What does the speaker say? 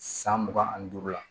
San mugan ani duuru la